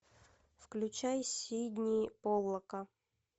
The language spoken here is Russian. включай сидни поллака